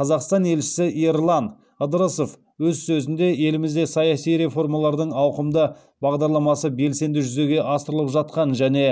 қазақстан елшісі ерлан ыдырысов өз сөзінде елімізде саяси реформалардың ауқымды бағдарламасы белсенді жүзеге асырылып жатқанын және